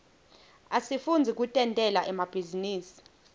asifundzi kutentela emabhizinisi